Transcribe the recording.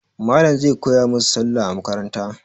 Malam zai koya musu Sallah a makaranta.